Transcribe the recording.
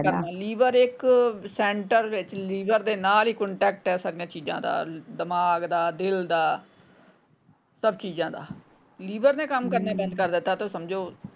Liver ਇੱਕ centre ਵਿੱਚ liver ਦੇ ਨਾਲ ਈ ਕੰਟੈਕਟ ਹੈ ਸਾਰੀਆਂ ਚੀਜਾਂ ਦਾ ਦਿਮਾਗ ਦਾ ਦਿਲ ਦਾ ਸਬ ਚੀਜਾਂ ਦਾ ਲੀਵਰ ਨੇ ਕੰਮ ਕਰਨਾ ਬੰਦ ਕਰ ਦਿੱਤਾ ਸਮਝੋ।